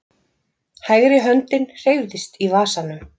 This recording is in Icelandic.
Hægri höndin hreyfðist í vasanum.